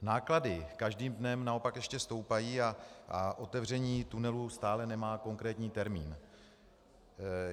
Náklady každým dnem naopak ještě stoupají a otevření tunelu stále nemá konkrétní termín.